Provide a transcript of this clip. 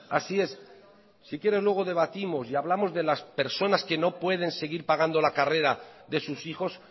así es si quiere luego debatimos y hablamos de las personas que no pueden seguir pagando la carrera de sus hijos